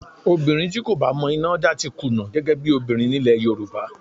Obìnrin tí kò bá mọ iná dá ti kùnà gẹ́gẹ́ bí obìnrin nílẹ̀ Yorùbá